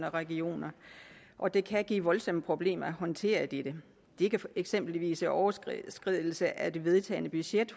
og regioner og det kan give voldsomme problemer at håndtere dette det kan eksempelvis være overskridelse af det vedtagne budget